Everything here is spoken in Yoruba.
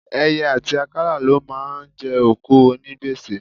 Ẹyẹ àti àkàlà ló máa ń jẹ òkú onígbèsè.